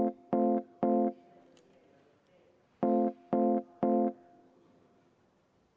Oleme töö tänase päevakorraga siin suures saalis lõpetanud.